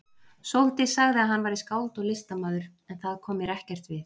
Sóldís sagði að hann væri skáld og listamaður, en það kom mér ekkert við.